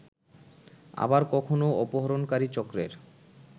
আবার কখনো অপহরণকারী চক্রের